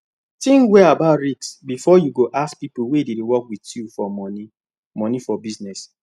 think well about risk before you go ask people wey dey work with you for money money for business